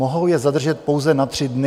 Mohou je zadržet pouze na tři dny.